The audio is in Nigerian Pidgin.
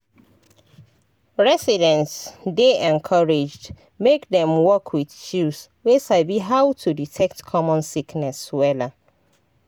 residents dey encouraged make dem work wit chws wey sabi how to detect common sickness wella